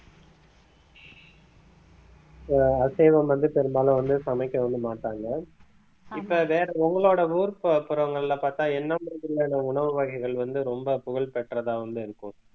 அஹ் அசைவம் வந்து பெரும்பாலும் வந்து சமைக்க வந்து மாட்டாங்க இப்ப உங்களோட ஊர் புற~ புறங்கள்ல பார்த்தா என்ன மாதிரியான உணவு வகைகள் வந்து ரொம்ப புகழ் பெற்றதா வந்து இருக்கும்